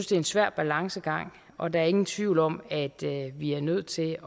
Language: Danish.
det en svær balancegang og der er ingen tvivl om at vi er nødt til